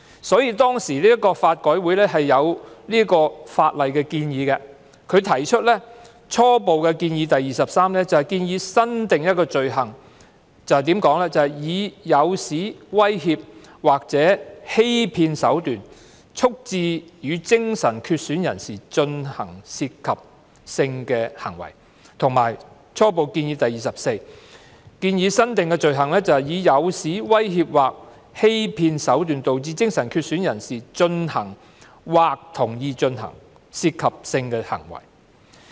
所以，法改會當時就法例提出初步建議 23" 新訂罪行以誘使、威脅或欺騙手段促致與精神缺損人士進行涉及性的行為"，以及初步建議 24" 新訂罪行以誘使、威脅或欺騙手段導致精神缺損人士進行或同意進行涉及性的行為"。